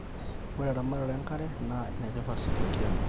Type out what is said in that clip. ore eramatare enkare naa enetipat tenkiremore